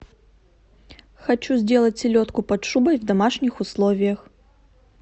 хочу сделать селедку под шубой в домашних условиях